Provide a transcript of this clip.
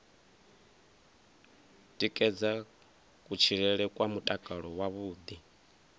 tikedza kutshilele kwa mutakalo wavhuḓi